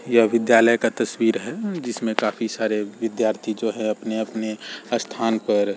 यह विद्यालय का तस्वीर है जिसमें काफी सारे विद्यार्थी जो है अपने-अपने स्थान पर --